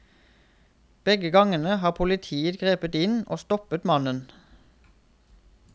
Begge gangene har politiet grepet inn og stoppet mannen.